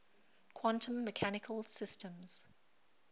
quantum mechanical systems